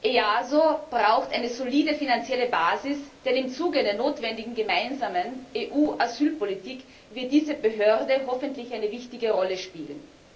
Das EASO braucht eine solide finanzielle Basis, denn im Zuge einer notwendigen gemeinsamen EU Asylpolitik wird diese Behörde hoffentlich eine wichtige Rolle spielen.